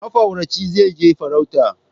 Mafarauci zai je farauta